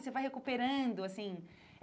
Você vai recuperando, assim.